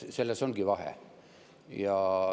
Selles ongi vahe.